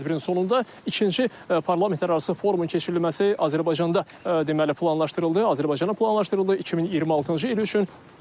Bu tədbirin sonunda ikinci parlamentlərarası forumun keçirilməsi Azərbaycanda deməli planlaşdırılıb, Azərbaycana planlaşdırılıb 2026-cı il üçün.